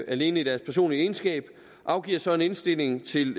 alene i deres personlige egenskab afgiver så en indstilling til